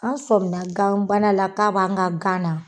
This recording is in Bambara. An sɔmina ganbana k'a bɛ an ka gana.